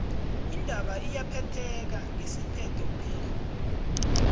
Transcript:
indaba iyaphetheka ngesiphetho phekghu